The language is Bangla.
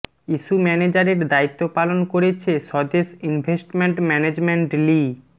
ইস্যু ম্যানেজারের দায়িত্ব পালন করেছে স্বদেশ ইনভেস্টমেন্ট ম্যানেজমেন্ট লি